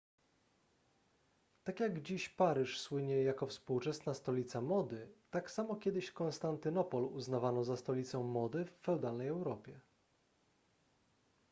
tak jak dziś paryż słynie jako współczesna stolica mody tak samo kiedyś konstantynopol uznawano za stolicę mody w feudalnej europie